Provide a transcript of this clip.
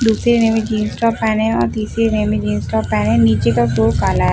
दूसरे ने भी जीन्स टॉप पहने है और तीसरे ने भी जीन्स टॉप पहने है नीचे का फ्लोर काला है।